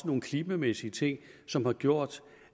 nogle klimamæssige ting som har gjort